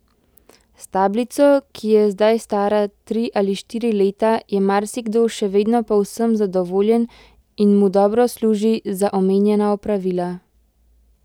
S tablico, ki je zdaj stara tri ali štiri leta, je marsikdo še vedno povsem zadovoljen in mu dobro služi za omenjena opravila.